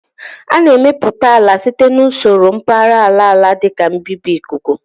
A na-emepụta ala site na usoro mbara àlà la dị ka mbibi ikuku